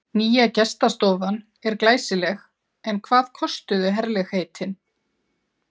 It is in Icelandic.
Nýja gestastofan er glæsileg en hvað kostuðu herlegheitin?